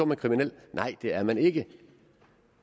man kriminel nej det er man ikke